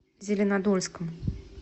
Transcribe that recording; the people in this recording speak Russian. зеленодольском